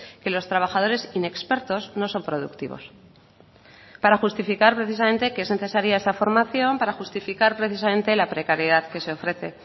que los trabajadores inexpertos no son productivos para justificar precisamente que es necesaria esa formación para justificar precisamente la precariedad que se ofrece